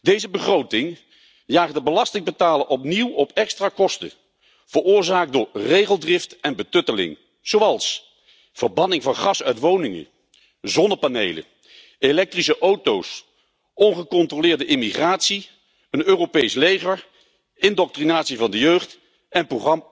Deze begroting jaagt de belastingbetaler opnieuw op extra kosten, veroorzaakt door regeldrift en betutteling, zoals verbanning van gas uit woningen, zonnepanelen, elektrische auto's, ongecontroleerde immigratie, een Europees leger, indoctrinatie van de jeugd en